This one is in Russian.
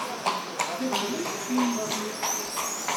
сергей синицын